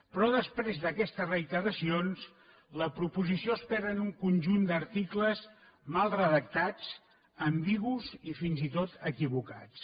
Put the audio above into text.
però després d’aquestes reiteracions la proposició es perd en un conjunt d’articles mal redactats ambigus i fins i tot equivocats